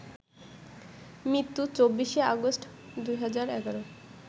মৃত্যু ২৪শে আগস্ট, ২০১১